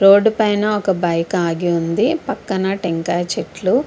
road పైనా వక bike ఆగి ఉనాది పక్కన తెకాయ చెట్లు --